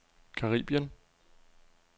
Caribien